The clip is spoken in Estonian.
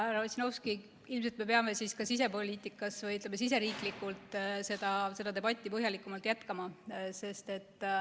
Härra Ossinovski, ilmselt me peame ka sisepoliitikas seda debatti põhjalikumalt jätkama.